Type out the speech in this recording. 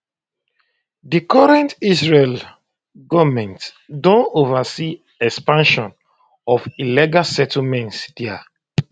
di current israeli goment don oversee expansion of illegal settlements dia